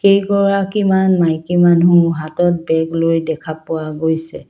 কেইগৰাকীমান মাইকী মানুহ হাতত বেগলৈ দেখা পোৱা গৈছে।